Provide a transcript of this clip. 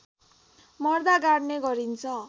मर्दा गाड्ने गरिन्छ